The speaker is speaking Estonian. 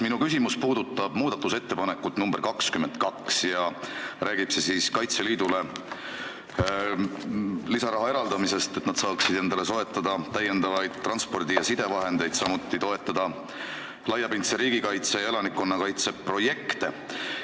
Minu küsimus puudutab muudatusettepanekut nr 22, mis räägib Kaitseliidule lisaraha eraldamisest, et nad saaksid endale soetada täiendavaid transpordi- ja sidevahendeid, samuti toetada laiapindse riigikaitse ja elanikkonnakaitse projekte.